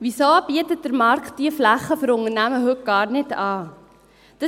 Weshalb bietet der Markt diese Flächen für Unternehmen heute gar nicht an?